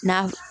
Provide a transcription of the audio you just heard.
N'a f